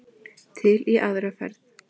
Til í aðra ferð.